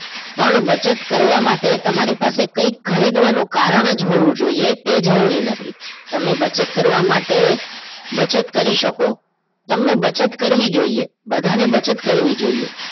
પણ બચત કરવા માટે તમારી પાસે કંઈક ખરીદવાનું કારણ જ હોવું જોઈએ તે જરૂરી નથી તમને બચત કરવા માટે બચત કરી શકો તમને બચત કરવી જોઈએ બધાને બચત કરવી જોઈએ